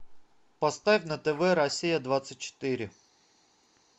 поставь на тв россия двадцать четыре